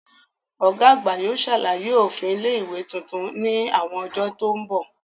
Ọ̀gá àgbà yóò ṣàlàyé òfin ilé ìwé tuntun ní àwọn ọjọ́ tó mbọ̀